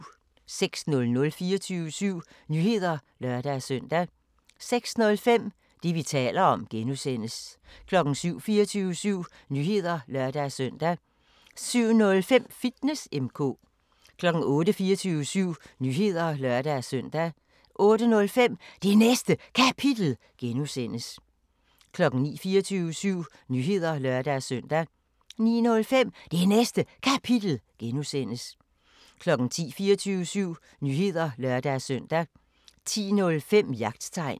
06:00: 24syv Nyheder (lør-søn) 06:05: Det, vi taler om (G) 07:00: 24syv Nyheder (lør-søn) 07:05: Fitness M/K 08:00: 24syv Nyheder (lør-søn) 08:05: Det Næste Kapitel (G) 09:00: 24syv Nyheder (lør-søn) 09:05: Det Næste Kapitel (G) 10:00: 24syv Nyheder (lør-søn) 10:05: Jagttegn